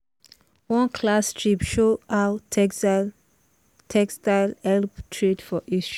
one class trip show how textile help trade for history.